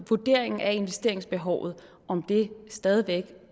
vurderingen af investeringsbehovet stadig væk